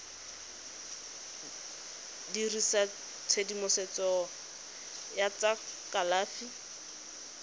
dirisa tshedimosetso ya tsa kalafi